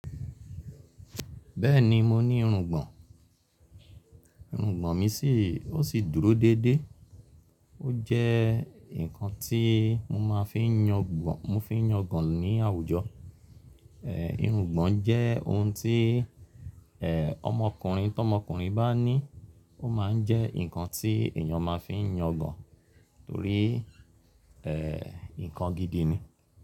Bẹ́ẹ̀ni mo ní irùngbọ̀n, irùngbọ̀n mi sì, ó sì dúró dédé. Ójẹ́ nkan tí mo máa ń fi yangban, mo ń fi yangàn nì àwùjọ. Irùgbọ̀n jẹ́ ohun tí e ọmọkùnrin, tọ́mọkùnrin báa ní ó máa ń jẹ nkan tí, èyàn máa ń fi yangàn torí e nkan gidi ni.